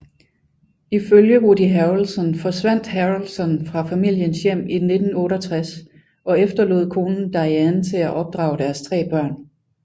Ifølge Woody Harrelson forsvandt Harrelson fra familiens hjem i 1968 og efterlod konen Diane til at opdrage deres tre børn